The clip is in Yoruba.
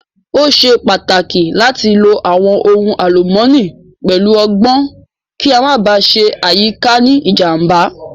Ó ṣe pàtàkì láti lo àwọn ohun àlùmọ́nì pẹ̀lú ọgbọ́n kí a Má ba à ṣe àyíká ní ìjàm̀bá